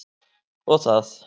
Og það.